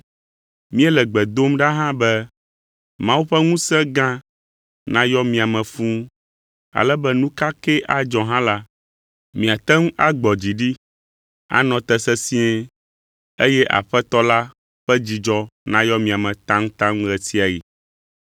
Míele gbe dom ɖa hã be Mawu ƒe ŋusẽ gã nayɔ mia me fũu ale be nu ka kee adzɔ hã la, miate ŋu agbɔ dzi ɖi, anɔ te sesĩe, eye Aƒetɔ la ƒe dzidzɔ nayɔ mia me taŋtaŋ ɣe sia ɣi.